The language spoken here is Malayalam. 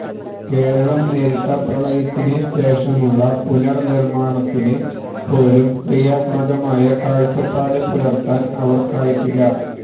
കേരളം നേരിട്ട പ്രളയത്തിന് ശേഷമുള്ള പുനർ നിർമാണത്തിന് പോലും ക്രിയാത്മകമായ കാഴ്ചപ്പാട് പുലർത്താൻ അവർക്കായിട്ടില്ല